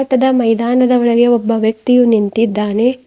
ಟದ ಮೈದಾನ ಒಳಗೆ ಒಬ್ಬ ವ್ಯಕ್ತಿಯು ನಿಂತಿದ್ದಾನೆ.